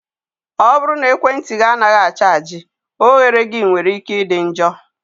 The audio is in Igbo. ọ bụrụ na ekwentị gị anaghị a chaji, oghere gị nwere ike ịdị njọ.